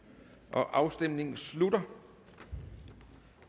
afstemningen slutter